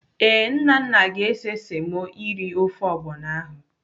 Ee, Nnanna ga-ese semo eri ofe ọgbọnọ ahụ.